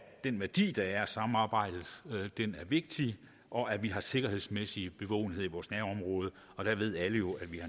den værdi der er af samarbejdet er vigtig og at vi har sikkerhedsmæssig bevågenhed i vores nærområde alle ved jo at vi